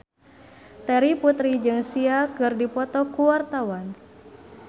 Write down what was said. Terry Putri jeung Sia keur dipoto ku wartawan